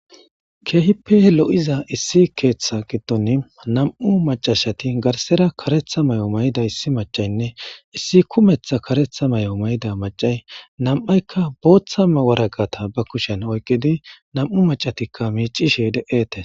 keehippe lo'iza issi keeththa giddon nam'u macashati garsera karetha may'o mayda issi macaynne issi kumetha karetha may'o mayda macay nam'aykka booththama waragata ba kushen oyqidi nam'u macatikka miicishe de'etes.